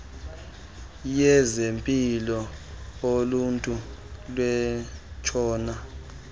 yezempilo uluntu lwentshona